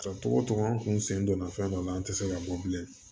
tɔgɔ tɔgɔ n kun sen donna fɛn dɔ la an te se ka bɔ bilen